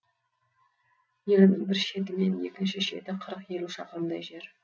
елінің бір шеті мен екінші шеті қырық елу шақырымдай жер